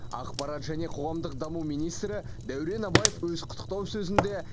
ақпарат және қоғамдық даму министрі дәурен абаев өз құттықтау сөзінде